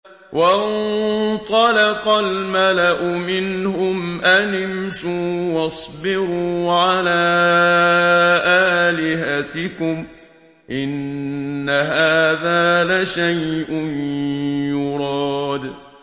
وَانطَلَقَ الْمَلَأُ مِنْهُمْ أَنِ امْشُوا وَاصْبِرُوا عَلَىٰ آلِهَتِكُمْ ۖ إِنَّ هَٰذَا لَشَيْءٌ يُرَادُ